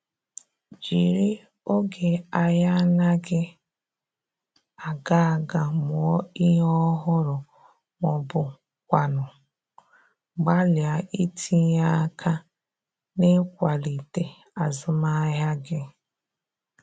Jiri oge ahia anaghi aga aga mụọ ihe ọhụrụ ma ọ bụkwanụ gbalịa itinye aka n’ịkwalite azụmahịa gị